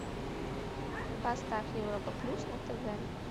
поставь европа плюс на тв